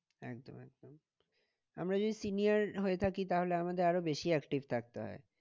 একদম একদম আমরা যদি senior হয়ে থাকি তাহলে আমাদের আরো বেশি active থাকতে হয়।